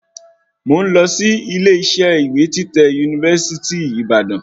Mo ń lọ sí ilé isẹ́ ìwé títẹ̀ university Ìbàdàn